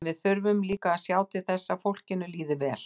En við þurfum líka að sjá til þess að fólkinu líði vel.